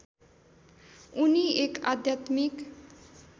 उनि एक आध्यात्मिक